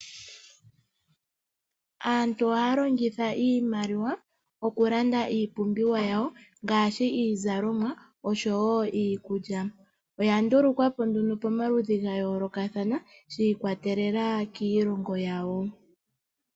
Aantu ohaa longitha iimaliwa okulanda iipumbiwa yawo ngaashi iizalomwa osho woo iikulya. Oya ndulukwapo nduno pomaludhi ga yoolokathana shiikwatelela kiilongo yawo.